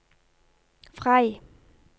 Frei